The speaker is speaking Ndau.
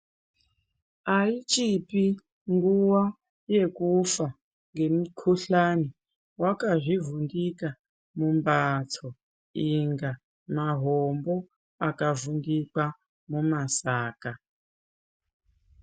Aichipi nguwa yekufa ngemukuhlani wakazvivhundika mumbatso inga mahombo akavhundikwa mumasaka.